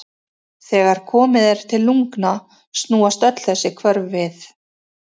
Þegar komið er til lungna snúast öll þessi hvörf við.